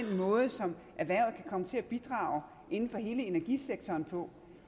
måde som erhvervet kan komme til at bidrage inden for hele energisektoren på